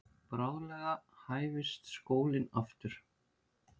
Bráðlega hæfist skólinn aftur.